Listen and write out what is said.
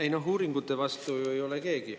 Ei noh, uuringute vastu ei ole ju keegi.